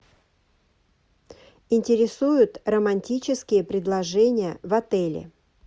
интересуют романтические предложения в отеле